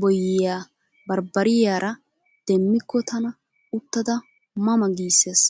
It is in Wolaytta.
boyyiya barbbariyara demmikko tana uttada ma ma giissees.